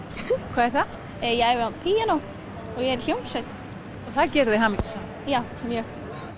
hvað er það ég æfi á píanó og ég er í hljómsveit það gerir þig hamingjusama já mjög